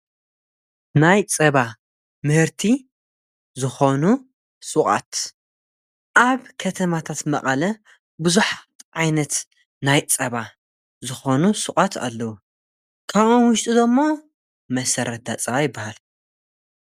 ናይ ጸባ ምህርቲ ዝኾኑ ሹቓት ኣብ ከተማታት መቐለ ብዙኃት ዓይነት ናይ ጸባ ዝኾኑ ሹቓት ኣለዉ ካብኦም ውሽጢዶ ደሞ መሠረት ዳጸባ ኣይበሃል።